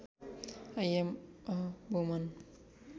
I am a woman